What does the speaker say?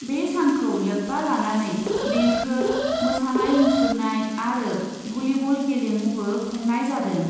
बे सानखौ लोब्बा लानानै देंखो, मोसानाय मुसुरनाय आरो भलिबल गेलेमुबो खुंनाय जादों ।